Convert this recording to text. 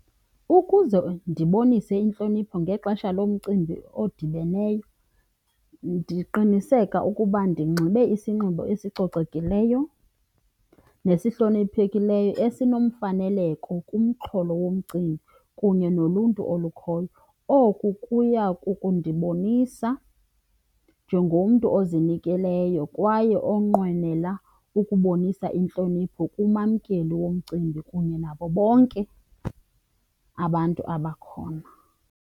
Ukuze ndibonise intlonipho ngexesha lomcimbi odibeneyo ndiqiniseka ukuba ndinxibe isinxibo esicocekileyo nesihloniphekileyo esinomfaneleko kumxholo womcimbi kunye noluntu olukhoyo. Oku kuya kukundibonisa njengomntu ozinikeleyo kwaye onqwenela ukubonisa intlonipho kumamkeli womcimbi kunye nabo bonke abantu abakhona.